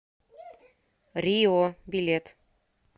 рио билет